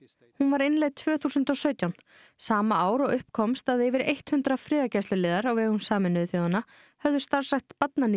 hún var innleidd tvö þúsund og sautján sama ár og upp komst að yfir eitt hundrað friðargæsluliðar á vegum Sameinuðu þjóðanna hefðu starfrækt